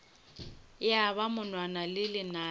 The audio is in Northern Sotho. ya ba monwana le lenala